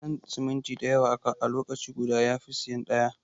Siyan siminti dayawa a lokaci guda yafi siyan ɗaya.